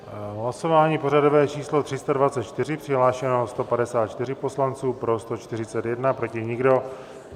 Hlasování pořadové číslo 324, přihlášeno 154 poslanců, pro 141, proti nikdo.